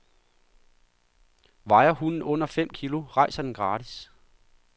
Vejer hunden under fem kilo, rejser den gratis.